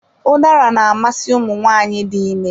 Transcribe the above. Ụdara na-amasị ụmụ nwaanyị dị ime